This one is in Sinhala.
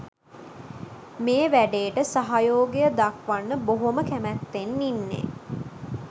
මේ වැඩේට සහයෝගය දක්වන්න බොහොම කැමැත්තෙන් ඉන්නේ